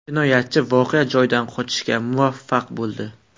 Jinoyatchi voqea joyidan qochishga muvaffaq bo‘ldi.